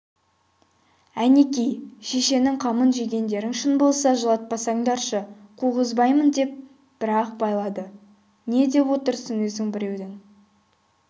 әнеки шешенің қамын жегендерің шын болса жылатпасаңдаршы қуғызбаймын деп бір-ақ байлады не деп отырсың өзің біреудің